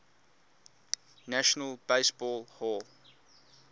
national baseball hall